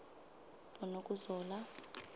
bonokuzola